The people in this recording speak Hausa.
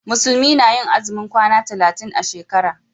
Musulmi na yi azumin kwana talatin a shekara.